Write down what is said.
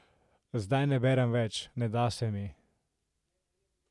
Zdaj ne berem več, ne da se mi.